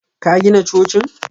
Ka gina cocin?